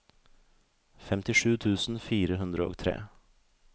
femtisju tusen fire hundre og tre